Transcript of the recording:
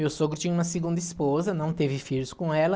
Meu sogro tinha uma segunda esposa, não teve filhos com ela,